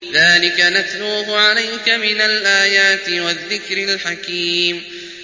ذَٰلِكَ نَتْلُوهُ عَلَيْكَ مِنَ الْآيَاتِ وَالذِّكْرِ الْحَكِيمِ